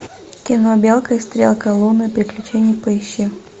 кино белка и стрелка лунные приключения поищи